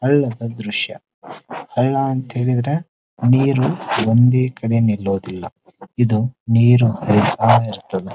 ಅಲ್ಲದ ದ್ರಶ್ಯ ಅಲ್ಲ ಅಂತ ಹೇಳಿದ್ರೆ ನೀರು ಒಂದೇ ಕಡೆ ನಿಲ್ಲುವುದಿಲ್ಲ ಇದು ನೀರ್ ಆಳ ಇರ್ತದೆ .